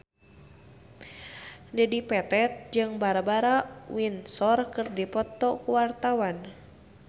Dedi Petet jeung Barbara Windsor keur dipoto ku wartawan